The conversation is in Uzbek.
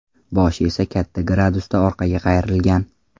Boshi esa katta gradusda orqaga qayrilgan.